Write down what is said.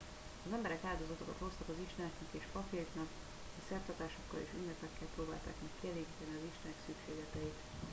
az emberek áldozatokat hoztak az isteneknek és papjaiknak és szertartásokkal és ünnepekkel próbálták meg kielégíteni az istenek szükségleteit